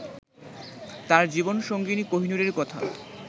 তাঁর জীবন সঙ্গিনী কোহিনূরের কথা